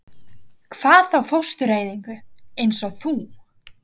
Hvað þá fóstureyðingu- eins og þú.